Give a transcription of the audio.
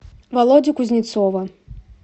володю кузнецова